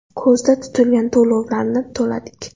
Ko‘zda tutilgan to‘lovlarni to‘ladik.